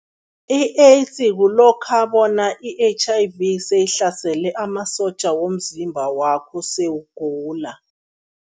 I-AIDS kulokha bona i-H_I_V seyihlasele amasotja womzimba wakho, sewugula.